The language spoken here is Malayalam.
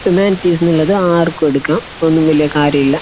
ഹ്യൂമാനിറ്റീസ് ആർക്കും എടുക്കാം ഒന്നും വലിയ കാര്യം ഇല്ലാ